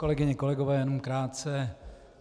Kolegyně, kolegové, jenom krátce.